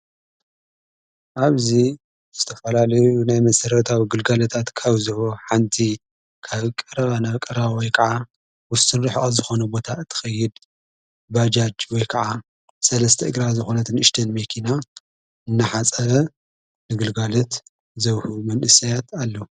ኣብዙ ስተፈላለዩ ናይ መሠረታዊ ግልጋለት ኣቲካውዝወ ሓንቲ ካብቀረባ ነብቀራወይ ከዓ ውስትንርኅዖት ዝኾነቦታ እትኸይድ ባጃጅ ወይ ከዓ ሠለስተ እግራ ዝኾነት ንኢሽተን ሜኪና እናሓጸበ ንግልጋለት ዘውሑ መንእሰያት ኣሎ።